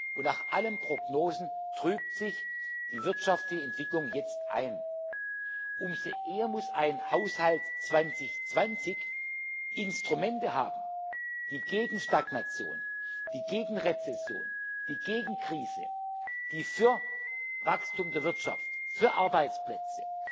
Und nach allen Prognosen trübt sich die wirtschaftliche Entwicklung jetzt ein. Umso mehr muss ein Haushalt 2020 Instrumente haben, die gegen Stagnation, die gegen Rezession, die gegen eine Krise, die für Wirtschaftswachstum, für Arbeitsplätze,